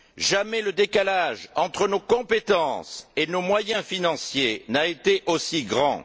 Jamais le décalage entre nos compétences et nos moyens financiers n'a été aussi grand.